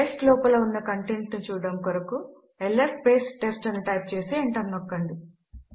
test లోపల ఉన్న content ను చూడడము కొరకు ల్స్ టెస్ట్ అని టైప్ చేసి ఎంటర్ నొక్కండి